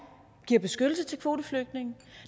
giver beskyttelse til kvoteflygtninge